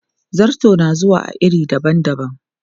Zarto na zuwa a iri dabam dabam.